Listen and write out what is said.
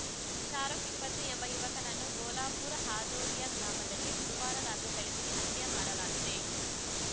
ಶಾರುಖ್‌ ಇಪ್ಪತ್ತು ಎಂಬ ಯುವಕನನ್ನು ಭೋಲಾಪುರ್‌ ಹಾದೊಲಿಯಾ ಗ್ರಾಮದಲ್ಲಿ ಬುಧವಾರ ರಾತ್ರಿ ಥಳಿಸಿ ಹತ್ಯೆ ಮಾಡಲಾಗಿದೆ